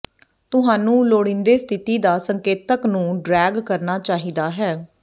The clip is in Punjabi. ਤੁਹਾਨੂੰ ਲੋੜੀਦੇ ਸਥਿਤੀ ਦਾ ਸੰਕੇਤਕ ਨੂੰ ਡਰੈਗ ਕਰਨਾ ਚਾਹੀਦਾ ਹੈ